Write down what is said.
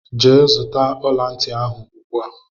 Gee zụta ọlanti ahụ ugbua!!!!!